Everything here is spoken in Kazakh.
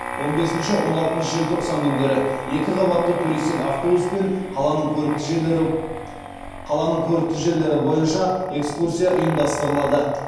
он бесінші он алтыншы желтоқсан күндері екіқабатты туристік автобуспен қаланың көрікті жерлері бойынша экскурсия ұйымдастырылады